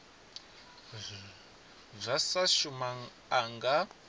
zwa sa shuma a nga